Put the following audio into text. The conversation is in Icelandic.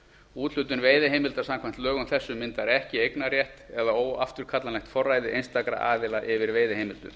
úthlutun veiðiheimilda samkvæmt lögum þessum myndar ekki eignarrétt eða óafturkallanlegt forræði einstakra aðila yfir veiðiheimildum